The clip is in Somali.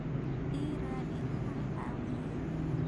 I raadi hal awwiye.